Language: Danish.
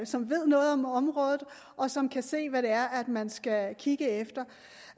som ved noget om området og som kan se hvad det er man skal kigge efter